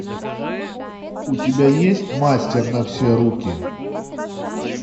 у тебя есть мастер на все руки